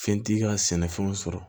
Fɛn t'i ka sɛnɛfɛnw sɔrɔ